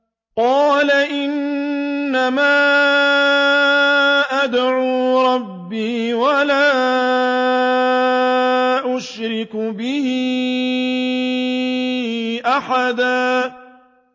قُلْ إِنَّمَا أَدْعُو رَبِّي وَلَا أُشْرِكُ بِهِ أَحَدًا